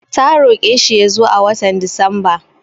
Ta roƙe shi ya zo a watan Disamba.